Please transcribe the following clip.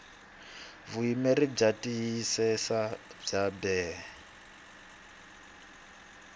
vuyimeri byo tiyisisa bya bee